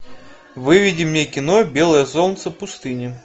выведи мне кино белое солнце пустыни